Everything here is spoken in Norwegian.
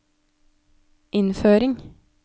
innføring